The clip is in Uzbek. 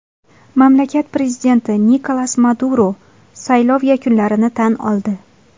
Mamlakat prezidenti Nikolas Maduro saylov yakunlarini tan oldi.